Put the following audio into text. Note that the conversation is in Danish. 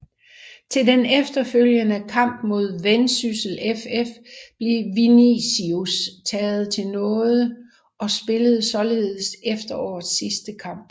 Til den efterfølgende kamp mod Vendsyssel FF blev Vinicius taget til nåede og spillede således efterårets sidste kamp